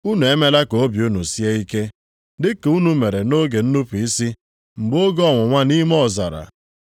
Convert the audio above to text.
unu emela ka obi unu sie ike, dị ka unu mere nʼoge nnupu isi mgbe oge ọnwụnwa nʼime ọzara,